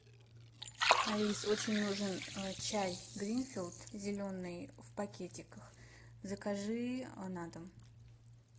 алис очень нужен чай гринфилд зеленый в пакетиках закажи на дом